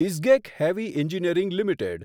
Isgec heavy engineering limited